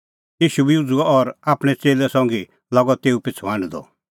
ईशू बी उझ़ुअ और आपणैं च़ेल्लै संघी लागअ तेऊ पिछ़ू हांढदअ